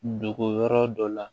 Dogo yɔrɔ dɔ la